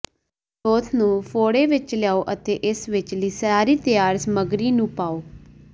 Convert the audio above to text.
broth ਨੂੰ ਫ਼ੋੜੇ ਵਿਚ ਲਿਆਓ ਅਤੇ ਇਸ ਵਿਚਲੀ ਸਾਰੀ ਤਿਆਰ ਸਮੱਗਰੀ ਨੂੰ ਪਾਓ